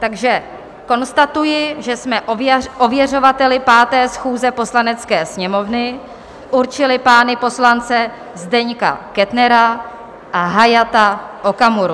Takže konstatuji, že jsme ověřovateli 5. schůze Poslanecké sněmovny určili pány poslance Zdeňka Kettnera a Hayata Okamuru.